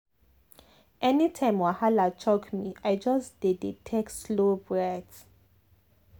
anytime wahala choke me i just dey dey take slow breath.